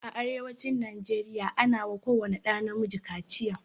A arewacin nigeria ana wa ko wani ɗa na miji kaciya